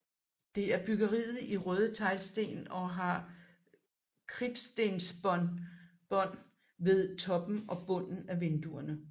Det erbygget i røde teglsten og har kridtstensbånd ved toppen og bunden af vinduerne